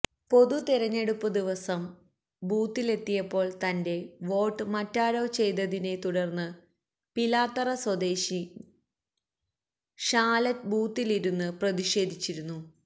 പൊതുതിരഞ്ഞെടുപ്പ് ദിവസം ബുത്തിലെത്തിയപ്പോൾ തന്റെ വോട്ട് മറ്റാരോ ചെയ്തതിനെ തുടർന്ന് പിലാത്തറ സ്വദേശിനി ഷാലറ്റ് ബൂത്തിലിരുന്ന് പ്രതിഷേധിച്ചിരുന്നു